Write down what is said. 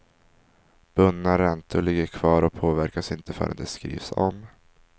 Bundna räntor ligger kvar och påverkas inte förrän de skrivs om.